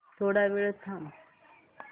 थोडा वेळ थांबव